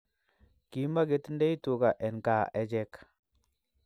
Kimaketindoi tuka en kaa echek